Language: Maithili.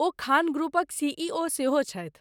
ओ खान ग्रुपक सीईओ सेहो छथि।